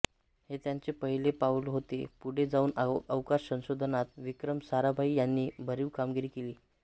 हे त्यांचे पहिले पाउल होते पुढे जाऊन अवकाश संशोधनात विक्रम साराभाई यांनी भरीव कामगिरी केली